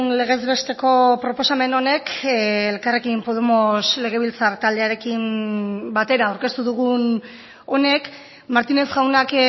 legez besteko proposamen honek elkarrekin podemos legebiltzar taldearekin batera aurkeztu dugun honek martínez jaunak